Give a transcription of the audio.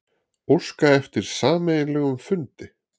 Óska eftir sameiginlegum fundi